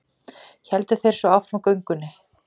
Héldu þeir svo áfram göngunni.